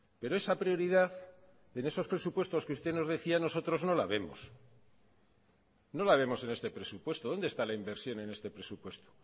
pero esa prioridad en esos presupuestos que usted nos decía a nosotros no la vemos no la vemos en este presupuesto dónde está la inversión en este presupuesto